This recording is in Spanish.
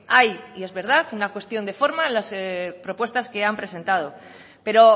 hay y es verdad una cuestión de forma en las propuestas que han presentado pero